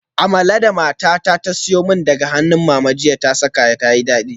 Amala da matata ta siyo min daga hannun mama ta saka jiya tayi dadi sosai